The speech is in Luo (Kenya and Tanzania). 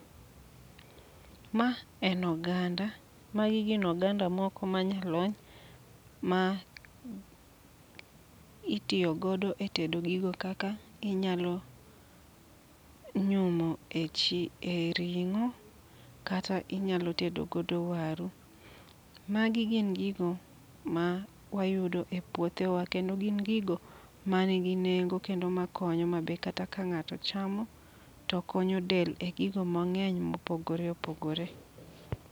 Ma en oganda, magi gin oganda moko ma nyalony. Ma itiyo godo e tedo gigo kaka inyalo nyumo e chi e ring'o kata inyalo tedo godo waru. Magi gin gigo ma wayudo e puothewa, kendo gin gigo ma nigi nengo kendo ma konyo. Ma be kata ka ng'ato chamo, to konyo del e gigo mang'eny mopogore opogore.